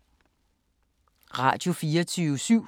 Radio24syv